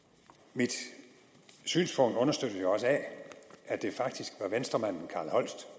mit synspunkt understøttes jo også af at det faktisk var venstremanden carl holst